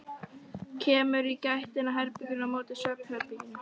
Kemur í gættina á herberginu á móti svefnherberginu.